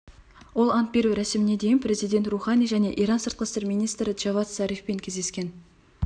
ол ант беру рәсіміне дейін президент роухани және иран сыртқы істер министрі джавад зарифпен кездескен